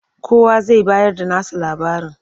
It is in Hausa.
Kowa zai bayarda nasa labarin.